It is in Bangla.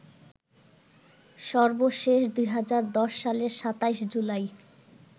সর্বশেষ ২০১০ সালের ২৭ জুলাই